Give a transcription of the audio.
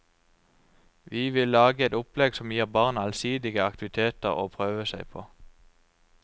Vi vil lage et opplegg som gir barna allsidige aktiviteter å prøve seg på.